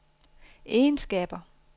egenskaber